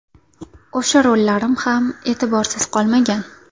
O‘sha rollarim ham e’tiborsiz qolmagan.